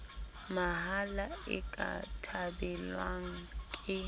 mahala e ka thabelwang ke